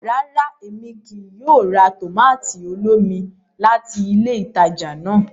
Ràrá, Èmí kìí yóò rà tomato olómi láti ilé ìtàjà náà